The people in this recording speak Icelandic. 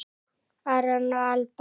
Aron og Alba.